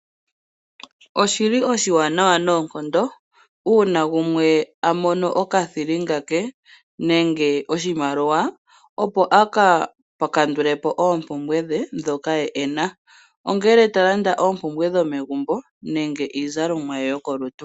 Oshili oshiwanawa noonkondo uuna gumwe amono okathilinga ke nenge oshimaliwa , opo aka kandulepo oompumbwe dhe ndhoka ena . Ongele tolanda oompumbwe dhomagumbo nenge iizalomwa yokolutu.